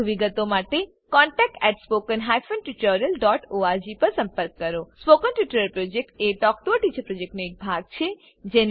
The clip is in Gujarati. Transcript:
વધુ વિગતો માટે કૃપા કરી contactspoken tutorialorg પર લખો spoken tutorial project talk to a teacher પ્રોજેક્ટનો એક ભાગ છે